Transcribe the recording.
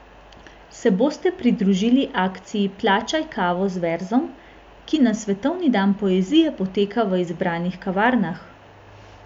Se boste pridružili akciji Plačaj kavo z verzom, ki na svetovni dan poezije poteka v izbranih kavarnah?